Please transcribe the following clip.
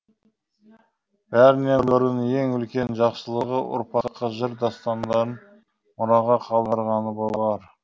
бәрінен бұрын ең үлкен жақсылығы ұрпаққа жыр дастандарын мұраға қалдырғаны болар